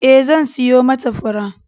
Ee, zan siyo mata fura.